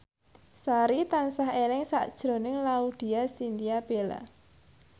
Sari tansah eling sakjroning Laudya Chintya Bella